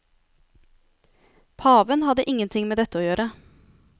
Paven hadde ingenting med dette å gjøre.